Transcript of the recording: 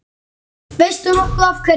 Veistu nokkuð af hverju?